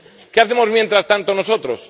¿Qué hacemos mientras tanto nosotros?